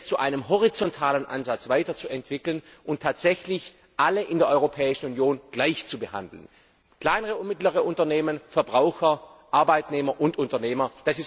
zu einem horizontalen Ansatz weiterzuentwickeln und tatsächlich alle in der Europäischen Union gleich zu behandeln kleine und mittlere Unternehmen, Verbraucher, Arbeitnehmer und Unternehmer.